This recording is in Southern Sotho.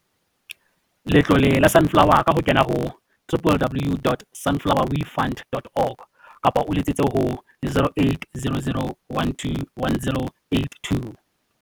Letlole la Sunflower ka ho kena ho www.sunflowefund.org kapa o letsetse ho 0800 12 10 82.